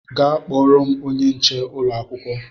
Gaa kpọọrọ m onye nche ụlọ akwụkwọ!